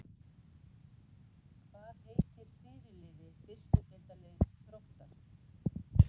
Hvað heitir fyrirliði fyrstu deildarliðs Þróttar?